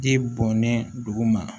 Ji bɔnnen dugu ma